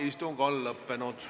Istung on lõppenud.